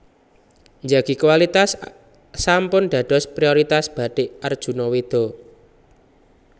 Njagi kualitas sampun dados prioritas Batik Arjuna Weda